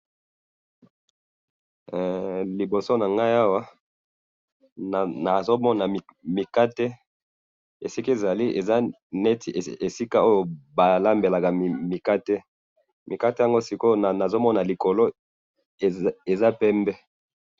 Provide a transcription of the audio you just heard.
Liboso na ngai awa ,nazo mona mikate ,esika ezali ,eza neti esika oyo balambelaka mikate ,mikate yango siko oyo nazo mona likolo eza pembe